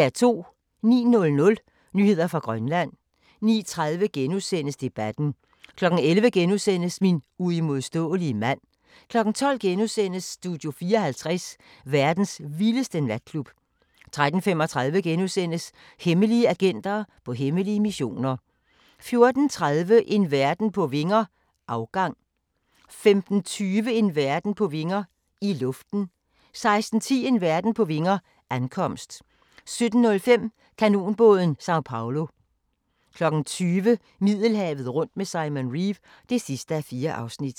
09:00: Nyheder fra Grønland 09:30: Debatten * 11:00: Min uimodståelige mand * 12:00: Studio 54 – verdens vildeste natklub * 13:35: Hemmelige agenter på hemmelige missioner * 14:30: En verden på vinger - afgang 15:20: En verden på vinger – i luften 16:10: En verden på vinger – ankomst 17:05: Kanonbåden San Pablo 20:00: Middelhavet rundt med Simon Reeve (4:4)